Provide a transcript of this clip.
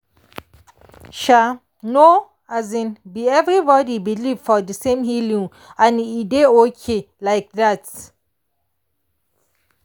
um no um be everybody believe for the same healing way and e dey okay like that.